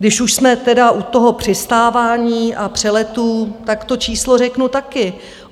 Když už jsme teda u toho přistávání a přeletů, tak to číslo řeknu taky.